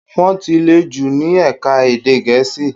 Wọ́n ti le jù ní ẹ̀ka èdè Gẹ̀ẹ́sì.